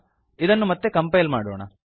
ಇದನ್ನು ಮತ್ತೆ ಕಂಪೈಲ್ ಮಾಡೋಣ